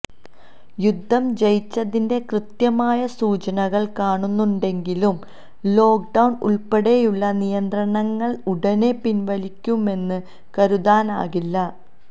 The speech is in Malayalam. യുദ്ധം ജയിച്ചതിന്റെ കൃത്യമായ സൂചനകൾ കാണുന്നുണ്ടെങ്കിലും ലോക്ക്ഡൌൺ ഉൾപ്പടെയുള്ള നിയന്ത്രണങ്ങൾ ഉടനെ പിൻവലിക്കുമെന്ന് കരുതാനാകില്ല